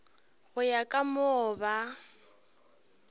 go ya ka moo ba